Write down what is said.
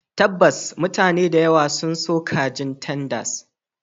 Tabbas, mutane da yawa. sun so kajin tenders